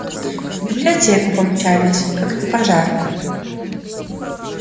в библиотеку помчались как на пожар